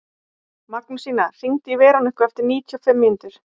Magnúsína, hringdu í Veroniku eftir níutíu og fimm mínútur.